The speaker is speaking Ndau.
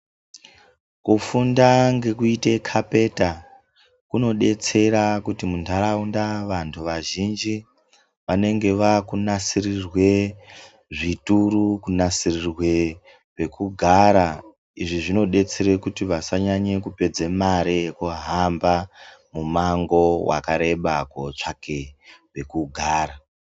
Kufunda ngekuite khapenda kunodetsera kuti munharaunda vantu vazhinji vanenge vakunasirirwe zvituru, kunasirirwe pekugara. Izvi zvinodetsera kuti vanhu vasanyanye kupedze mare yekuhamba mimango yakareba kootsvaka pekugara.